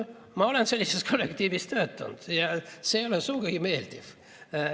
Ma olen sellises kollektiivis töötanud ja see ei ole sugugi meeldiv.